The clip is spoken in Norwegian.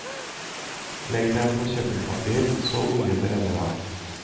Legg dem på kjøkkenpapir så oljen renner av.